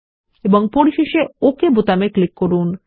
এবং পরিশেষে ওকে বোতামে ক্লিক করুন